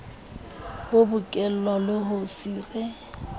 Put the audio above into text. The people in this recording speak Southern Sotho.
bo bokellwe le ho sire